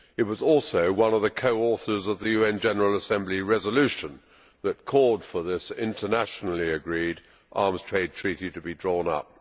It was also one of the co authors of the UN General Assembly resolution that called for this internationally agreed Arms Trade Treaty to be drawn up.